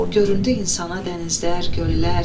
Göründü insana dənizlər, göllər.